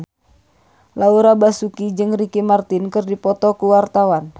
Laura Basuki jeung Ricky Martin keur dipoto ku wartawan